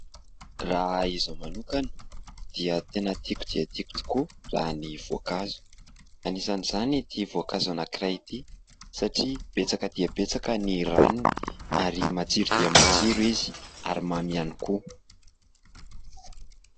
Raha izaho manokana dia tena tiako dia tiako tokoa raha ny voankazo, anisan' izany ity voankazo anankiray ity satria betsaka dia betsaka ny ranony ary matsiro dia matsiro izy ary mamy ihany koa.